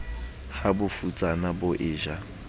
ha bofutsana bo e ja